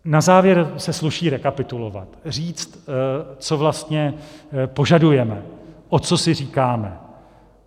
Na závěr se sluší rekapitulovat, říct, co vlastně požadujeme, o co si říkáme.